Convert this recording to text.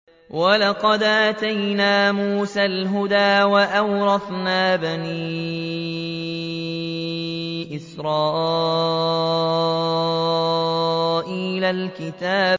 وَلَقَدْ آتَيْنَا مُوسَى الْهُدَىٰ وَأَوْرَثْنَا بَنِي إِسْرَائِيلَ الْكِتَابَ